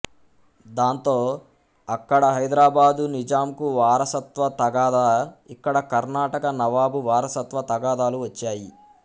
దాంతో ఆక్కడ హైదరాబాదు నిజాంకు వారసత్వ తగాదా ఇక్కడ కర్నాటక నవాబు వారసత్వ తగాదాలు వచ్చాయి